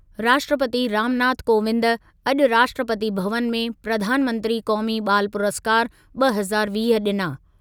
राष्ट्रपती रामनाथ कोविंद अॼु राष्ट्रपती भवनु में प्रधानमंत्री क़ौमी ॿाल पुरस्कारु ॿ हज़ार वीह ॾिना।